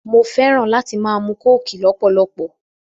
Mo fẹ́ràn láti máa mu kóòkì lọ́pọ̀lọpọ̀